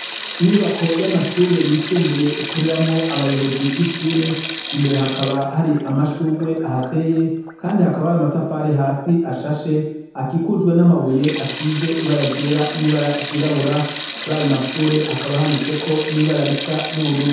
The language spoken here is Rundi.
Inyubako yamashure yisumbuye ikoreramwo abayobozi bishure, imbere hakaba hari amashurwe ahateye kandi hakaba hari amatafari hasi ashashe akikujwe n'amabuye asize ibara ryera n'ibara ryirabura, kurayo mashure hakaba handitseko nibara risa nubururu.